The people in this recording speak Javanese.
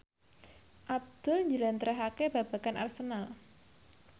Abdul njlentrehake babagan Arsenal